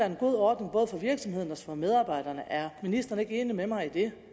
en god ordning både for virksomhederne og for medarbejderne er ministeren ikke enig med mig i det